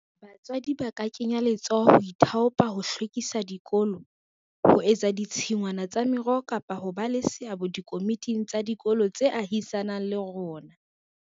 Batswadi ba ka kenya letsoho ho ithaopa ho hlwekisa dikolo, ho etsa ditshingwana tsa meroho kapa ho ba le seabo dikomiting tsa dikolo tse ahisaneng le rona.